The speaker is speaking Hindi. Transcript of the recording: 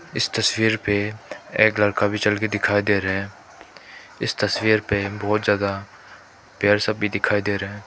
इस तस्वीर पे एक लड़का भी चल के दिखाई दे रहा है इस तस्वीर पे बहुत ज्यादा पेड़ सब भी दिखाई दे रहा है।